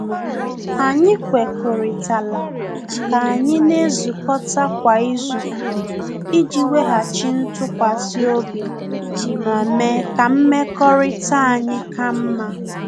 Anyị kwekuritala ka anyị na-ezukọta kwa izu iji weghachi ntụkwasị obi ma mee ka mmekọrịta anyị ka mma.